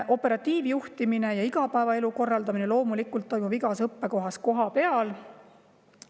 Operatiivjuhtimine ja igapäevaelu korraldamine toimub loomulikult igas õppekohas kohapeal.